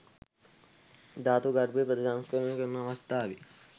ධාතු ගර්භය ප්‍රතිසංස්කරණය කරන අවස්ථාවේ